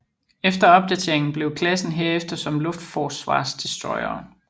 Efter opdateringen blev klassen herefter som luftforsvarsdestroyere